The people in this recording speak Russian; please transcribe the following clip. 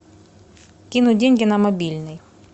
кинуть деньги на мобильный